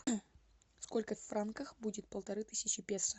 сколько в франках будет полторы тысячи песо